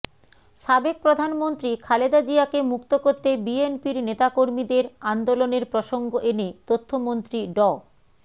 সাবেক প্রধানমন্ত্রী খালেদা জিয়াকে মুক্ত করতে বিএনপির নেতাকর্মীদের আন্দোলনের প্রসঙ্গ এনে তথ্যমন্ত্রী ড